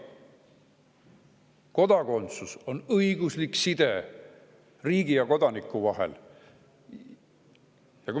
Kodakondsus on õiguslik side riigi ja kodaniku vahel.